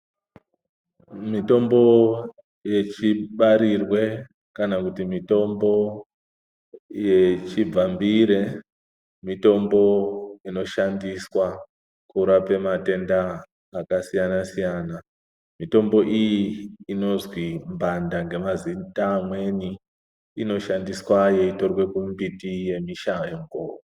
Mitombo yechibarirwe kana kuti mitombo yechibvambire mitombo inoshandiswa kurape matenda akasiyana-siyana. Mitombo iyi inozwi mbanda ngemazita amweni inoshandiswa yeitorwe kumimbiti yemishango.